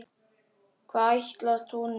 Hvað ætlast hún nú fyrir?